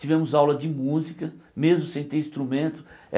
Tivemos aula de música, mesmo sem ter instrumento.